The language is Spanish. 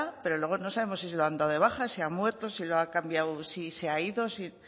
pero luego no sabemos si se lo han dado de baja si ha muerto si lo ha cambiado si se ha ido si